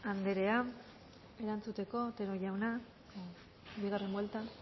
andrea erantzuteko otero jauna bigarren buelta